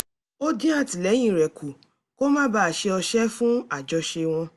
ó dín àtìlẹ́yìn rẹ̀ kù kó má bàa ṣe ọṣẹ́ fún àjọṣe wọn